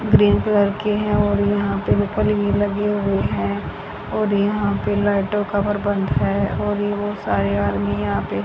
green colour के है और यहां पे भी लगे हुए है और यहां पे लाइटों का प्रबंध है और ये बहोत सारे आर्मी यहा पे--